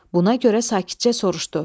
Buna görə sakitcə soruşdu.